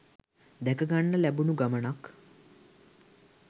දැකගන්න ලැබුණු ගමනක්.